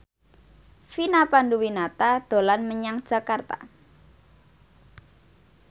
Vina Panduwinata dolan menyang Jakarta